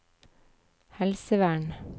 helsevern